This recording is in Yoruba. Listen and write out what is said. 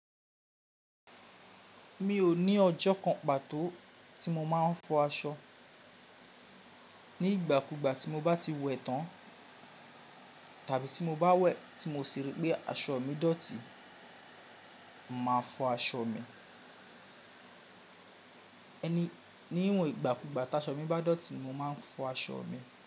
Mi ò ní ọjọ́ kan pàtó tí mo má ń fọ aṣọ. Ní ìgbà kú ìgbà tí mo bá ti wẹ̀ tán tàbí tí mo bá wẹ̀ tí mo sì rí pé aṣọ mi dọ̀tí, mo màá fọ aṣọ mi. Ẹni, níwọ̀n ìgbàkúgbà taṣọ mi bá dọ̀tí mo má ń fọ aṣọ mi.